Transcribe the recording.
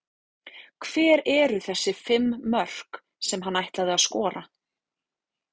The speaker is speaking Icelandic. Hver eru þessi fimm mörk sem hann ætlaði að skora?